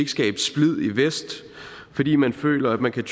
vest fordi man føler at man kan